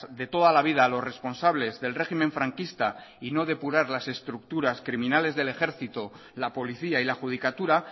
de toda la vida a los responsables del régimen franquista y no depurar las estructuras criminales del ejército la policía y la judicatura